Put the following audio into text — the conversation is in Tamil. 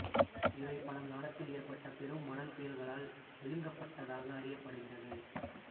இவை பழங்காலத்தில் ஏற்பட்ட பெரும் மணல் புயல்களால் விழுங்கப்பட்டதாக அறியப்படுகிறது